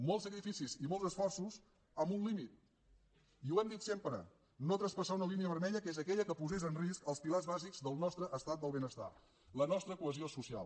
molts sacrificis i molts esforços amb un límit i ho hem dit sempre no traspassar una línia vermella que és aquella que posés en risc els pilars bàsics del nostre estat del benestar la nostra cohesió social